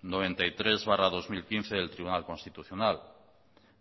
noventa y tres barra dos mil quince del tribunal constitucional